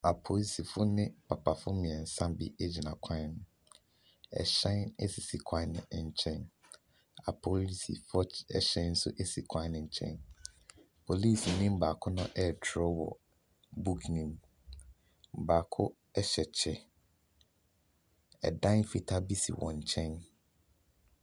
Apolisifoɔ ne papafoɔ mmiɛnsa bi egyina kwan ho. Ɛhyɛn esisi kwan ne nkyɛn. Apolisifoɔ ɛhyɛn so si kwan ne nkyɛn. Polisini baako ɛtwerɛ wɔ buuk nim. Baako ɛhyɛ kyɛ. Ɛdan fitaa bi si wɔn nkyɛn.